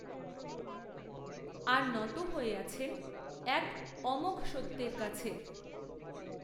আর, নত হয়ে আছেন, এক, অমোঘ সত্যের কাছে